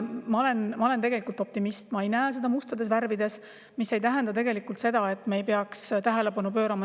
Ma olen optimist, ma ei näe seda mustades värvides, mis aga ei tähenda seda, et me ei peaks sellele tähelepanu pöörama.